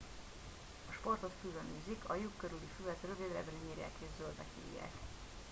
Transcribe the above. a sportot füvön űzik a lyuk körüli füvet rövidebbre nyírják és zöldnek hívják